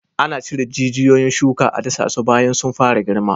Ana cire jijiyon shuka a dasasu bayan sun fara girma.